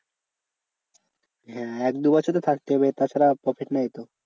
হ্যাঁ এক দু বছর তো থাকতে হবে তাছাড়া profit নেই তো।